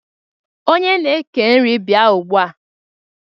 Onye na-eke nri bịa ugbua!